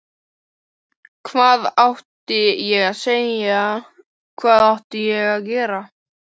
Hvað átti ég að segja, hvað átti ég að gera?